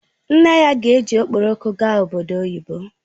Nne ya ga-eji Okporoko aga obodo oyibo